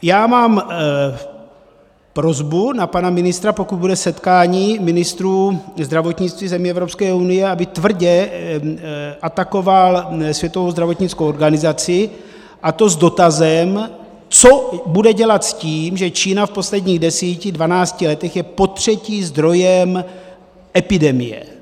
Já mám prosbu na pana ministra, pokud bude setkání ministrů zdravotnictví zemí Evropské unie, aby tvrdě atakoval Světovou zdravotnickou organizaci, a to s dotazem, co bude dělat s tím, že Čína v posledních deseti, dvanácti letech je potřetí zdrojem epidemie.